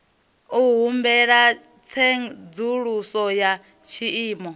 u humbela tsedzuluso ya tshiimo